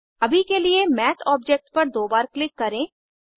अभी के लिए माथ ऑब्जेक्ट पर दो बार क्लिक करें